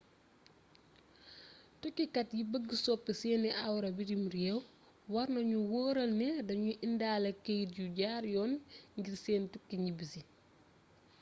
tukkikat yi bëgg soppi seeni awra bitim rééw warna nu wóoral ne dañuy indaale keyt yu jaar yoon ngir seen tukki ñibbisi